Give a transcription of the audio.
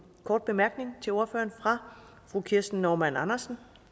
kort bemærkning til ordføreren fra fru kirsten normann andersen